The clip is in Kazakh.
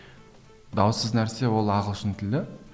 даусыз нәрсе ол ағылшын тілі